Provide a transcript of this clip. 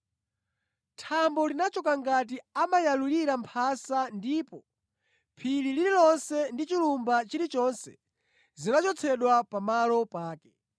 Thambo linachoka ngati amayalulira mphasa ndipo phiri lililonse ndi chilumba chilichonse zinachotsedwa pa malo pake.